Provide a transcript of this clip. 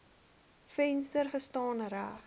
venster gestaan reg